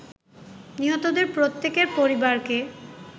নিহতদের প্রত্যেকের পরিবারকে